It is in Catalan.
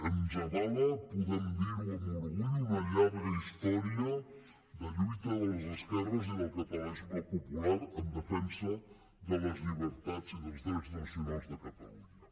ens avala podem dir ho amb orgull una llarga història de lluita de les esquerres i del catalanisme popular en defensa de les llibertats i dels drets nacionals de catalunya